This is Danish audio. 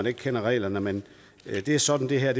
at kende reglerne men det er sådan det her